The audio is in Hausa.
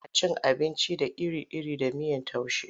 Ana cin abinci da iri-iri da miyar taushe.